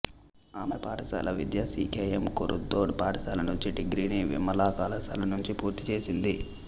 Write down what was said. ఆమె పాఠశాల విద్య సి కె ఎం కొరుథోడ్ పాఠశాల నుంచి డిగ్రీని విమలా కళాశాల నుంచి పూర్తిచేసింది